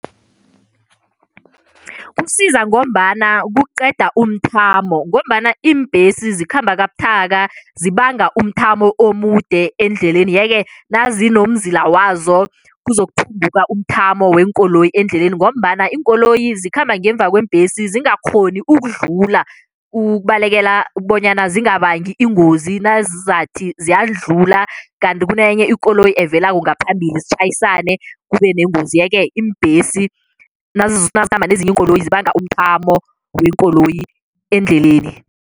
Kusiza ngombana kuqeda umthamo ngombana iimbhesi zikhamba kabuthaka, zibanga umthamo omude endleleni, yeke nazinomzila wazo kuzokuphunguka umthamo weenkoloyi endleleni ngombana iinkoloyi zikhamba ngemva kweembhesi zingakghoni ukudlula, ukubalekela bonyana zingabangi ingozi nazizathi ziyadlula kanti kunenye ikoloyi evelako ngaphambili zitjhayisane kube nengozi, yeke iimbhesi nazikhamba nezinye iinkoloyi zibanga umthamo weenkoloyi endleleni.